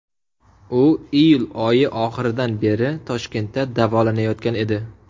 U iyul oyi oxiridan beri Toshkentda davolanayotgan edi.